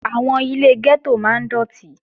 Àwọn ilé gẹ́tò máa ń dọ̀tí